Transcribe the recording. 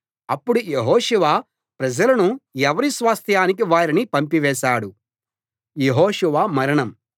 అప్పుడు యెహోషువ ప్రజలను ఎవరి స్వాస్థ్యానికి వారిని పంపివేశాడు